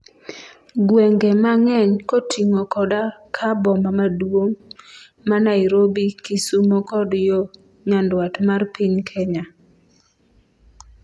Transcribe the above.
gwenge mang'eny koting'o koda ka boma maduong' ma Nairobi, Kisumo kod yo nyandwat mar piny Kenya